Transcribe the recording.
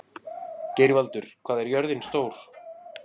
Geirvaldur, hvað er jörðin stór?